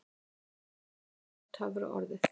AMERÍKA það var töfraorðið.